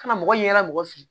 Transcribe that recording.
Ka na mɔgɔ ɲɛda mɔgɔ fe yen